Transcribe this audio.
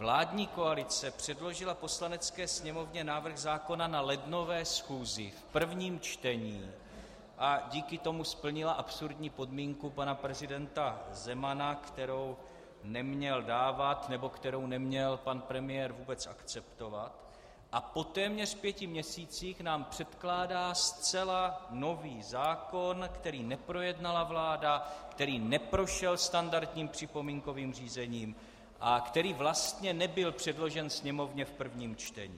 Vládní koalice předložila Poslanecké sněmovně návrh zákona na lednové schůzi v prvním čtení a díky tomu splnila absurdní podmínku pana prezidenta Zemana, kterou neměl dávat nebo kterou neměl pan premiér vůbec akceptovat, a po téměř pěti měsících nám předkládá zcela nový zákon, který neprojednala vláda, který neprošel standardním připomínkovým řízením a který vlastně nebyl předložen Sněmovně v prvním čtení.